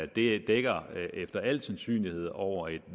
det dækker efter al sandsynlighed over et